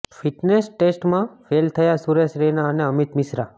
fitness ટેસ્ટમાં fail થયા સુરેશ રૈના અને અમિત મિશ્રા